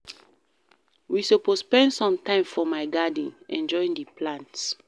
We suppose spend some time for my garden, enjoy di plants.